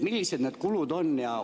Millised need kulud on?